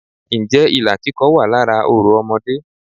Ǹ jẹ́ ilà kíkọ wà lára orò Ọmọdé